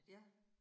Ja